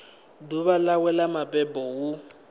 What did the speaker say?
ḓuvha ḽawe ḽa mabebo hu